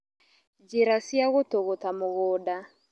Njĩra cia gũtũgũta mũgũnda